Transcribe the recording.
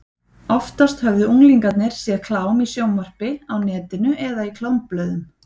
Oftast höfðu unglingarnir séð klám í sjónvarpi, á netinu eða í klámblöðum.